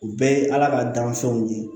U bɛɛ ye ala ka gansanw ye